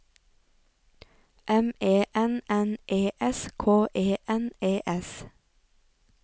M E N N E S K E N E S